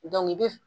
i bi